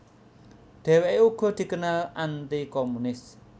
Dheweke uga dikenal anti komunis